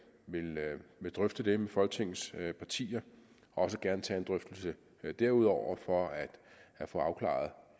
drøfte det med folketingets partier og også gerne tage en drøftelse derudover for at få afklaret